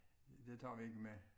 Det tager vi ikke med